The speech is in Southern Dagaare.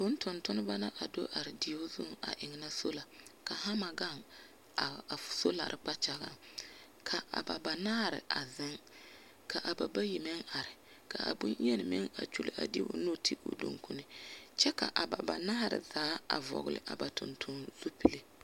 Vũũ tontonebͻ la do are deoŋ zuŋ a ennԑ sola. Ka hama gaŋe a solare kpakyagaŋ. Ka a banaare a zeŋ, ka a bayi meŋ are ka a boŋyeni meŋ a kyuli a de o nu te o dukuni, kyԑ ka a ba banaare zaa a vͻgele a ba tontonzupile.